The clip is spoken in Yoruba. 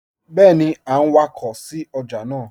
Bẹẹni a n wakọ sí ọjà naa